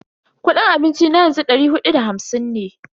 Kudin abinci na yanzu dari hudu da hamsin ne.